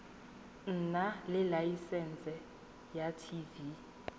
nna le laesense ya tv